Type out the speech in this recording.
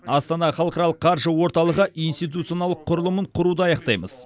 астана халықаралық қаржы орталығы институционалдық құрылымын құруды аяқтаймыз